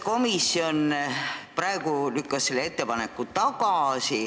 Komisjon praegu lükkas selle ettepaneku tagasi.